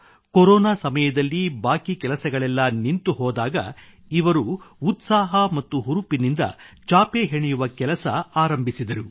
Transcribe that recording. corona ಸಮಯದಲ್ಲಿ ಬಾಕಿ ಕೆಲಸಗಳೆಲ್ಲ ನಿಂತುಹೋದಾಗ ಇವರು ಉತ್ಸಾಹ ಮತ್ತು ಹುರುಪಿನಿಂದ ಚಾಪೆ ಹೆಣೆಯುವ ಕೆಲಸ ಆರಂಭಿಸಿದರು